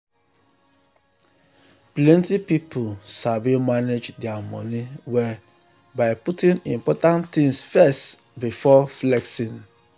plenty people sabi manage their money well by putting important things first before flexing.